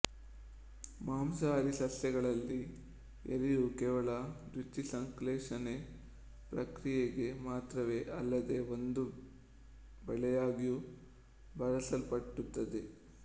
ಮಾಂಸಾಹಾರಿ ಸಸ್ಯಗಳಲ್ಲಿ ಎಲೆಯು ಕೇವಲ ದ್ಯುತಿಸಂಶ್ಲೇಷಣೆ ಪ್ರಕ್ರಿಯೆಗೆ ಮಾತ್ರವೇ ಅಲ್ಲದೇ ಒಂದು ಬಲೆಯಾಗಿಯೂ ಬಳಸಲ್ಪಡುತ್ತದೆ